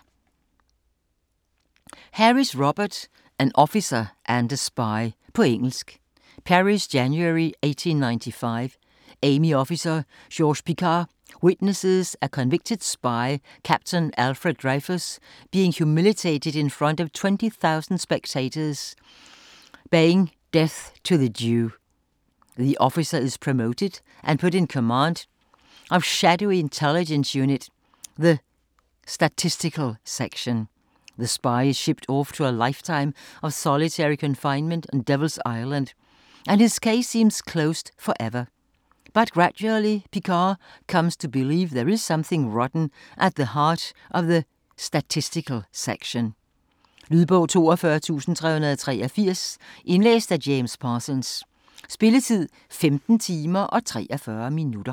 Harris, Robert: An officer and a spy På engelsk. Paris, January 1895. Army officer Georges Picquart witnesses a convicted spy, Captain Alfred Dreyfus, being humiliated in front of 20,000 spectators baying 'Death to the Jew!' The officer is promoted and put in command of shadowy intelligence unit, the Statistical Section. The spy is shipped off to a lifetime of solitary confinement on Devil's Island and his case seems closed forever. But gradually Picquart comes to believe there is something rotten at the heart of the Statistical Section. Lydbog 42383 Indlæst af James Parsons Spilletid: 15 timer, 43 minutter.